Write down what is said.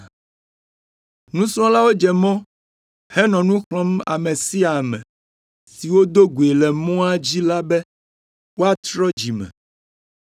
Nusrɔ̃lawo dze mɔ henɔ nu xlɔ̃m ame sia ame si wodo goe le mɔa dzi la be wòatrɔ dzime.